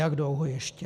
Jak dlouho ještě?